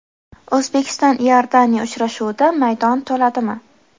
O‘zbekiston–Iordaniya uchrashuvida maydon to‘ladimi?.